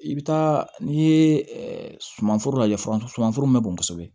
I bɛ taa n'i ye sumanforo lajɛ fɔlɔ sumanforo bɛ bɔn kosɛbɛ